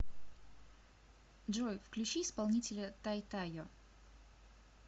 джой включи исполнителя тайтайо